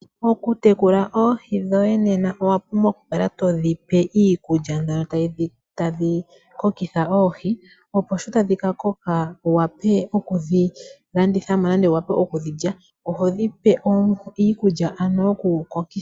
Okutekula oohii dhoye Nena owa pumbwa okukala todhipe iikulya mbyono tayikokitha oohii opo sho tadhikakoka wuwape okudhilanditha nenge okudhilya , ohodhipe ano iikulya yokudhikokitha.